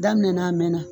Daminɛna a mɛnna